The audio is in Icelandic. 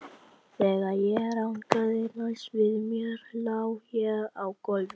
Þegar ég rankaði næst við mér lá ég á gólfinu.